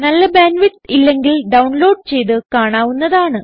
നല്ല bandwidth ഇല്ലെങ്കിൽ download ചെയ്ത് കാണാവുന്നതാണ്